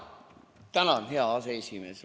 Tänan, hea aseesimees!